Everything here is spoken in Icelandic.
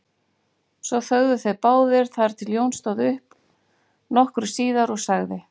Svo þögðu þeir báðir þar til Jón stóð upp nokkru síðar og sagði